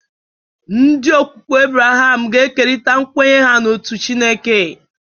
Ndi okwukwe Abraham ga-ekerịta nkwenye ha n'otu Chineke.